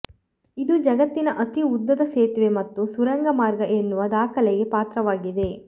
ಇದು ಜಗತ್ತಿನ ಅತಿ ಉದ್ದದ ಸೇತುವೆ ಮತ್ತು ಸುರಂಗ ಮಾರ್ಗ ಎನ್ನುವ ದಾಖಲೆಗೆ ಪಾತ್ರವಾಗಿದೆ